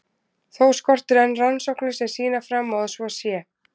Þó skortir enn rannsóknir sem sýna fram á að svo sé.